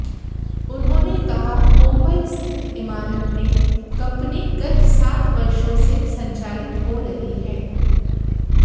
उन्होंने कहा मुंबई स्थित इमारत में कंपनी गत सात वर्षो से संचालित हो रही है